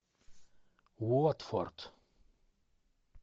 уотфорд